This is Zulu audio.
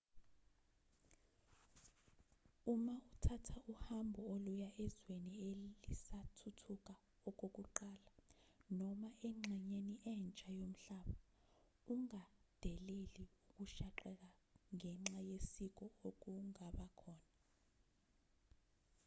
uma uthatha uhambo oluya ezweni elisathuthuka okokuqala noma engxenyeni entsha yomhlaba ungadeleli ukushaqeka ngenxa yesiko okungaba khona